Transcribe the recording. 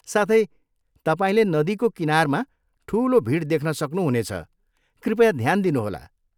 साथै, तपाईँले नदीको किनारमा ठुलो भिड देख्न सक्नुहुनेछ, कृपया ध्यान दिनुहोला।